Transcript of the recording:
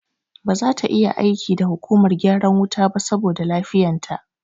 Ba zata iya aiki da hukumar gyaran wuta ba saboda lafiyan ta